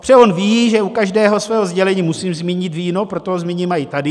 Protože on ví, že u každého svého sdělení musím zmínit víno, proto ho zmíním i tady.